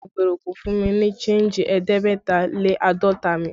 Agbèrò kò fún mi ní senji ẹ̀ẹ́dẹ́gbẹ̀ta lé àádọ́ta mi